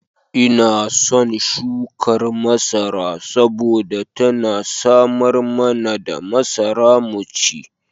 Ina son shukar masara saboda tana samar mana da masara mu ci.